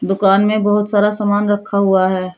दुकान में बहुत सारा सामान रखा हुआ है।